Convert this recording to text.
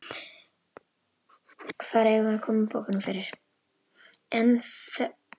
Hvar eigum við að koma bókunum fyrir?